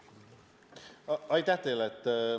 Aitäh teile!